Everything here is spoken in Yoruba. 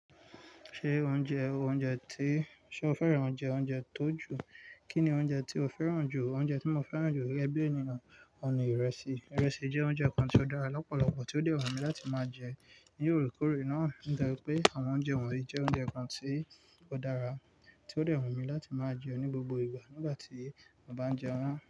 Ṣe o fẹ́ràn ounjẹ tójú? Kí ni ounjẹ tí o fẹ́ràn jù? Ounjẹ tí mo fẹ́ràn jù gege bí ènìyàn, òun ni ìrẹsì. Ìrẹsì jẹ́ ounjẹ kan tí ó dára lọ́pọ̀lọpọ̀, tí ó dẹ wu mi láti máa jẹ. Ní orekore náà, mo de ropé àwọn ounjẹ wọ̀nyí jẹ́ ounjẹ kan tí ó dára, tí ó dẹ wùmi láti máa jẹ ní gbogbo ìgbà nígbà tí mo bá ń jẹ wọ́n.